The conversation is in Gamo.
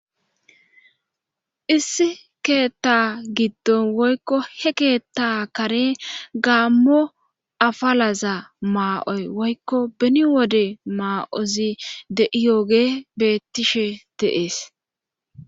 issi keththa giddon woykko he keetta kare gammo afalaza maa7oy woykko beni wode maa7ozi de7iyoge beettishe de7ees.